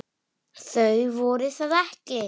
Þau voru það ekki.